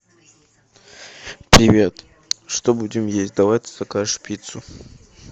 привет что будем есть давай ты закажешь пиццу